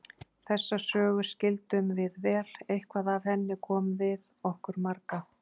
Þessa sögu skildum við vel, eitthvað af henni kom við okkur marga.